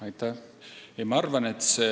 Aitäh!